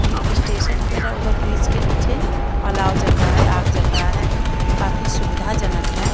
ये स्टेशन वगैरा over bridge के नीचे अलाव चल रहा है आग जल रहा है काफी सुविधाजनक है।